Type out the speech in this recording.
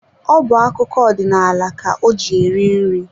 Ọ bu akụkọ odinaala ka o ji eri nri.